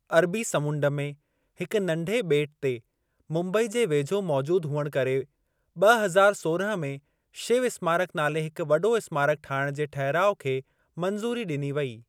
अरबी समुंड में हिकु नंढे ॿेटु ते मुंबई जे वेझो मौजूद हुअण करे ब॒ हज़ार सोरहं में शिव स्मारकु नाले हिकु वॾो स्मारकु ठाहिणु जे ठहिराउ खे मंज़ूरी ॾिनी वई।